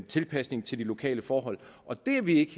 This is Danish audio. tilpasning til de lokale forhold og det er vi ikke